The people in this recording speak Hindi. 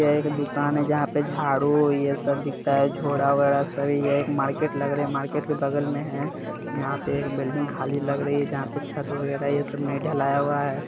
यह एक दुकान है जहां पर झारू ये सब बिकता हैझोला वोडा सभी यह एक मार्केट लग रहा हैं मार्केट में बगल में है यहाँ पे एक बिल्डिंग खाली लग रही हैं जहाँ पे छत वगेरा ये सब ने ढलाया हैं।